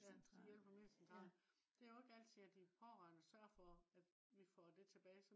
ja til hjælpemiddelcentralen det jo ikke altid at de pårørende sørger for at vi får det tilbage